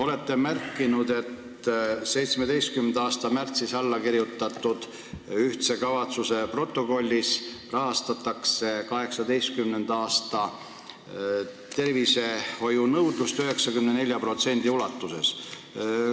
Olete märkinud, et 2017. aasta märtsis alla kirjutatud ühiste kavatsuste protokollis on kirjas, et 2018. aastal rahastatakse tervishoiu nõudlust 94% ulatuses.